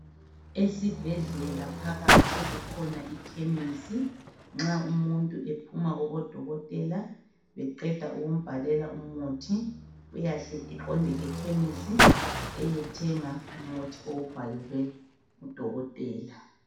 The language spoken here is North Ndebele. Esibhedlela phakathi kukhona ikhemisi .Nxa umuntu ephuma kubodokotela beqeda ukumbhalela umuthi uyahle eqonde ekhemisi eyethenga umuthi awubhalelwe ngudokotela.